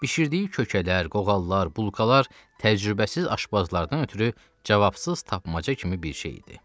Bişirdiyi kökələr, qoğallar, bulqalar təcrübəsiz aşbazlardan ötrü cavabsız tapmaca kimi bir şey idi.